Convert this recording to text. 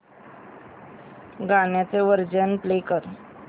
गाण्याचे version play कर